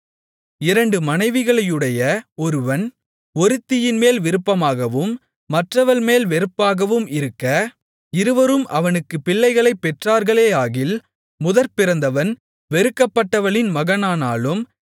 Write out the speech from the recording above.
இரண்டு மனைவிகளையுடைய ஒருவன் ஒருத்தியின்மேல் விருப்பமாகவும் மற்றவள்மேல் வெறுப்பாகவும் இருக்க இருவரும் அவனுக்குப் பிள்ளைகளைப் பெற்றார்களேயாகில் முதற்பிறந்தவன் வெறுக்கப்பட்டவளின் மகனானாலும்